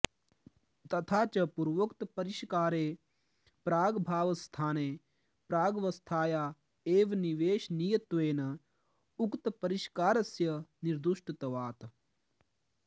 तथा च पूर्वोक्तपरिष्कारे प्रागभावस्थाने प्रागवस्थाया एव निवेशनीयत्वेन उक्तपरिष्कारस्य निर्दुष्टत्वात्